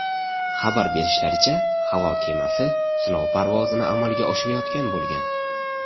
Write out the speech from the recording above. Xabar berishlaricha, havo kemasi sinov parvozini amalga oshirayotgan bo‘lgan.